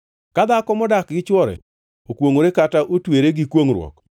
“Ka dhako modak gi chwore okwongʼore kata otwere gi kwongʼruok